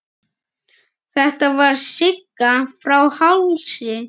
Þetta var Sigga frá Hálsi.